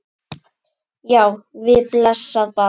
Já, við blessað barnið!